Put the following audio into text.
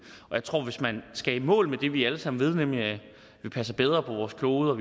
jeg tror at hvis man skal i mål med det vi alle sammen ved nemlig at vi passer bedre på vores klode